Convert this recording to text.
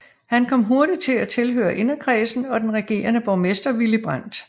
Han kom hurtigt til at tilhøre inderkredsen om den regerende borgmester Willy Brandt